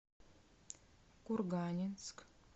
курганинск